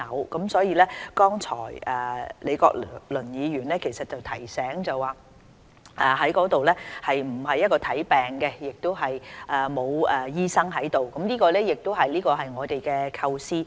剛才李國麟議員亦提醒大家，地區康健中心不會提供診症服務，亦不會有醫生駐診，這正是我們的構思。